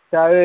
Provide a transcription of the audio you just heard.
ഉസ്താദ്